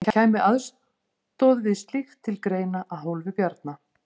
En kæmi aðstoð við slíkt til greina að hálfu Bjarna?